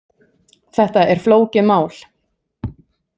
Þetta er flókið mál.